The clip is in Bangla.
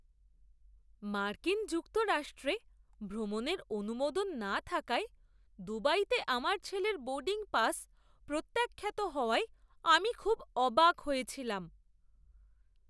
মার্কিন যুক্তরাষ্ট্রে ভ্রমণের অনুমোদন না থাকায় দুবাইতে আমার ছেলের বোর্ডিং পাস প্রত্যাখ্যাত হওয়ায় আমি খুব অবাক হয়েছিলাম।